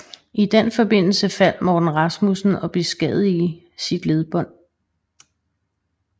I den forbindelse faldt Morten Rasmussen og beskadigede sit ledbånd